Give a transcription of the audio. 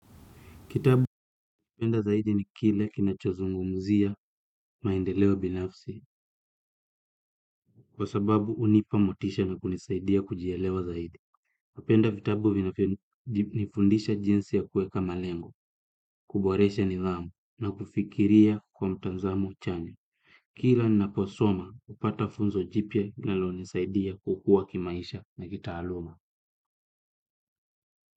Kitabu ninachopenda zaidi ni kile kinacho zungumuzia maendeleo binafsi kwa sababu hunipa motisha na kunisaidia kujielewa zaidi. Napenda vitabu vinavyo nifundisha jinsi ya kuweka malengo, kuboresha nidhamu na kufikiria kwa mtanzamo chanya. Kila naposoma hupata funzo jipya linalonisaidia kukua kimaisha na kitaaluma.